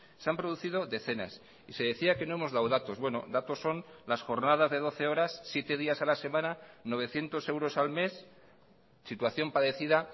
se han producido decenas y se decía que no hemos dado datos bueno datos son las jornadas de doce horas siete días a la semana novecientos euros al mes situación padecida